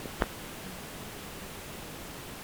на ютюбе кодак блэк